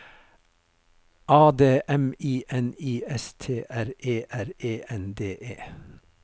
A D M I N I S T R E R E N D E